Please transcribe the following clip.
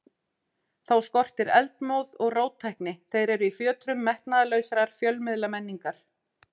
Þá skortir eldmóð og róttækni, þeir eru í fjötrum metnaðarlausrar fjölmiðlamenningar.